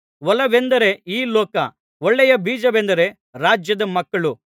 ಹೊಲವೆಂದರೆ ಈ ಲೋಕ ಒಳ್ಳೆಯ ಬೀಜವೆಂದರೆ ರಾಜ್ಯದ ಮಕ್ಕಳು